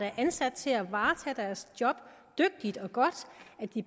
er ansat til at varetage deres job dygtigt og godt